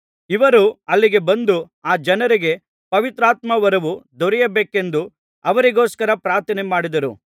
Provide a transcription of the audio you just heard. ಇವರು ಅಲ್ಲಿಗೆ ಬಂದು ಆ ಜನರಿಗೆ ಪವಿತ್ರಾತ್ಮವರವು ದೊರೆಯಬೇಕೆಂದು ಅವರಿಗೋಸ್ಕರ ಪ್ರಾರ್ಥನೆಮಾಡಿದರು